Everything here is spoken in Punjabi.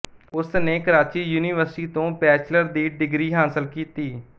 ਉਸਨੇ ਕਰਾਚੀ ਯੂਨੀਵਰਸਿਟੀ ਤੋਂ ਬੈਚਲਰ ਦੀ ਡਿਗਰੀ ਹਾਸਲ ਕੀਤੀ